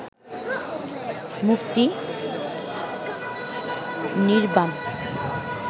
মুক্তি; নির্ব্বাণ